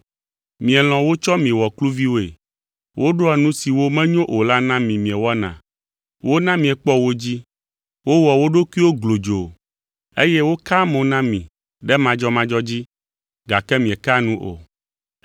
Mielɔ̃ wotsɔ mi wɔ kluviwoe, woɖoa nu siwo menyo o la na mi miewɔna, wona miekpɔ wo dzi, wowɔa wo ɖokuiwo glodzoo eye wokaa mo na mi ɖe madzɔmadzɔ dzi gake miekea nu o.